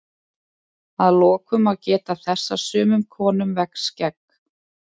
að lokum má geta þess að sumum konum vex skegg